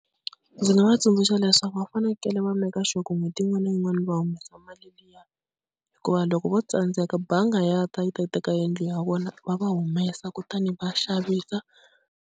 Ndzi nga va tsundzuxa leswaku va fanekele va make sure ku n'hweti yin'wana na yin'wana va humesa mali liya, hikuva loko vo tsandzeka bangi ya ta yi ta yi teka yindlu ya vona va va humesa kutani va xavisa.